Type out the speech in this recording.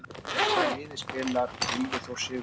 Með hvaða liði spilar Gylfi Þór Sigurðsson?